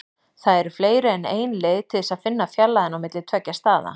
Það eru fleiri en ein leið til þess að finna fjarlægðina á milli tveggja staða.